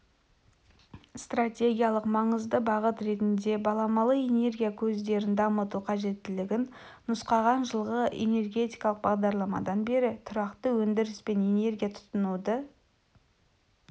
стратегиялық маңызды бағыт ретінде баламалы энергия көздерін дамыту қажеттілігін нұсқаған жылғы энергетикалық бағдарламадан бері тұрақты өндіріс пен энергия тұтынуды